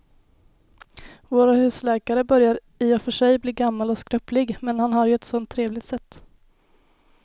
Vår husläkare börjar i och för sig bli gammal och skröplig, men han har ju ett sådant trevligt sätt!